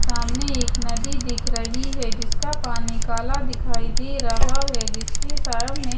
सामने एक नदी दिख रही है जिसका पानी काला दिखाई दे रहा है जिसके सामने--